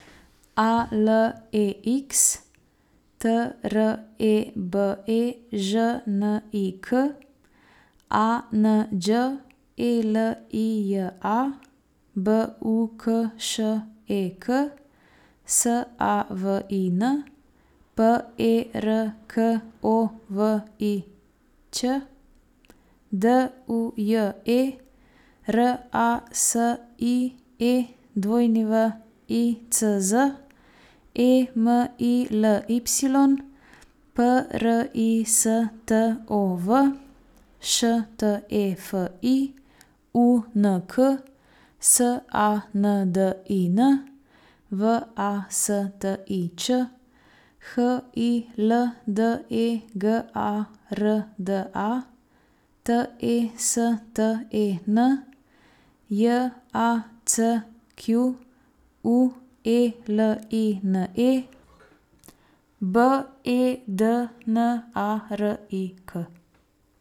A L E X, T R E B E Ž N I K; A N Đ E L I J A, B U K Š E K; S A V I N, P E R K O V I Ć; D U J E, R A S I E W I C Z; E M I L Y, P R I S T O V; Š T E F I, U N K; S A N D I N, V A S T I Č; H I L D E G A R D A, T E S T E N; J A C Q U E L I N E, B E D N A R I K.